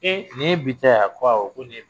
Ee nin ye bi ta y e a? ko awɔ nin